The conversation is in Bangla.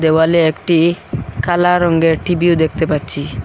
দেওয়ালে একটি কালা রঙ্গের টিভিও দেখতে পাচ্ছি।